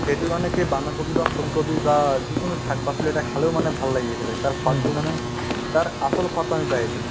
সেইটোৰ কাৰণে সেই বান্ধাকবি বা ফুলকবি বা যিকোনো শাক-পাচলি এটা খালেও মানে ভাল লাগি আছিলে তাৰ পাতটো মানে তাৰ আচল সোৱাদতো আমি পাই আছিলো